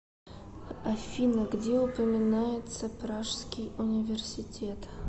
афина где упоминается пражский университет